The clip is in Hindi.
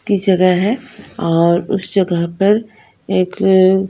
की जगह हैऔर उस जगह पर एक।